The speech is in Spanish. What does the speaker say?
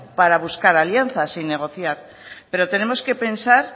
para buscar alianzas y negociar pero tenemos que pensar